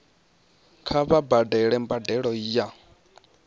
kha vha badele mbadelo ya